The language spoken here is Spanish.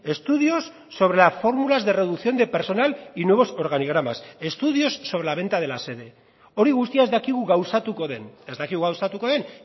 estudios sobre las fórmulas de reducción de personal y nuevos organigramas estudios sobre la venta de la sede hori guztia ez dakigu gauzatuko den ez dakigu gauzatuko den